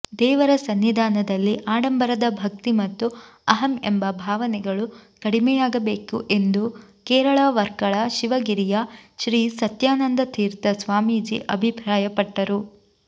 ದೇವರ ಸನ್ನಿಧಾನದಲ್ಲಿಆಡಂಬರದ ಭಕ್ತಿ ಮತ್ತು ಅಹಂ ಎಂಬ ಭಾವನೆಗಳು ಕಡಿಮೆಯಾಗಬೇಕುಎಂದು ಕೇರಳ ವರ್ಕಳ ಶಿವಗಿರಿಯ ಶ್ರೀ ಸತ್ಯಾನಂದತೀರ್ಥ ಸ್ವಾಮೀಜಿಅಭಿಪ್ರಾಯಪಟ್ಟರು